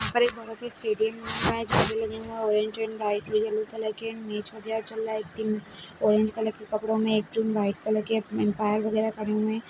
--पर एक बड़ा सा स्टेडियम में झंडे लगे हुए हैं orange colour and white colour में येलो कलर इसमें मैच चल रहा है एक टीम ऑरेंज कलर के कपड़ों में एक टीम वाइट कलर के अंपायर वगैरा खड़े हुए हैं।